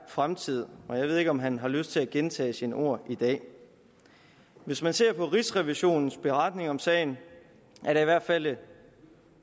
fremtid og jeg ved ikke om han har lyst til at gentage sine ord i dag hvis man ser på rigsrevisionens beretning om sagen er der i hvert fald